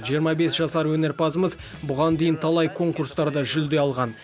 жиырма бес жасар өнерпазымыз бұған дейін талай конкурстарда жүлде алған